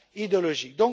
idéologiques.